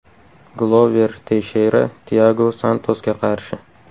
Glover Teysheyra Tiago Santosga qarshi.